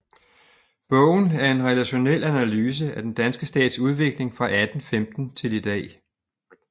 Bogen er en relationel analyse af den danske stats udvikling fra 1815 til i dag